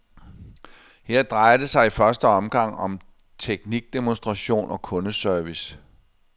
Her drejer det sig i første omgang om teknikdemonstration og kundeservice.